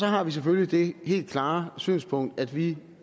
har vi selvfølgelig det helt klare synspunkt at vi